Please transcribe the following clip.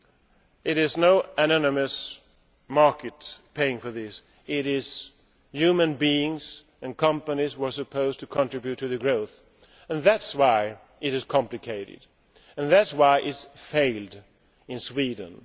There is no anonymous market paying for this it is human beings and companies who are supposed to contribute to the growth, and that is why it is complicated and that is why it has failed in Sweden.